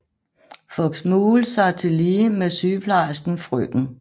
Fox Maule sig tillige med sygeplejersken frk